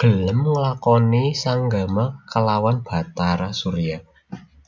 gelem nglakoni sanggama klawan Bathara Surya